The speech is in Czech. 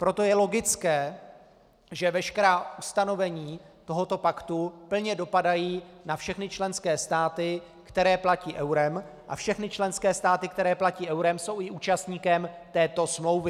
Proto je logické, že veškerá ustanovení tohoto paktu plně dopadají na všechny členské státy, které platí eurem, a všechny členské státy, které platí eurem, jsou i účastníkem této smlouvy.